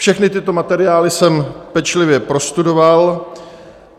Všechny tyto materiály jsem pečlivě prostudoval.